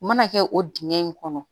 U mana kɛ o dingɛ in kɔnɔ